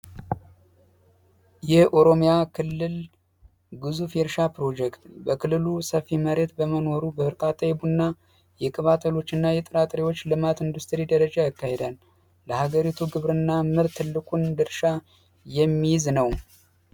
የኦሮሚያ ክልል እርሻ ፕሮጀክት በክልሉ ሰፊ መሬት በመኖሩ በእርቃት የቡና የቅባሎች እና የጥናት ልማት ኢንዱስትሪ ደረጀ አካሄዳል። ለሀገሪቱ ግብርና ትልቁን ድርሻ የሚይዝ ነው።